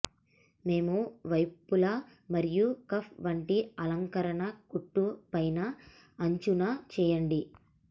మేము వైపులా మరియు కఫ్ వంటి అలంకరణ కుట్టు పైన అంచున చేయండి